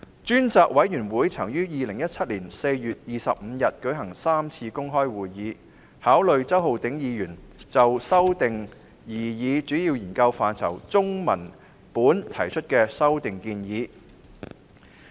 專責委員會在2017年4月25日舉行第三次公開會議，考慮周浩鼎議員就經修訂擬議主要研究範疇中文本提出的修訂建議。